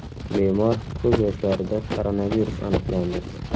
Bemor ko‘z yoshlarida koronavirus aniqlandi.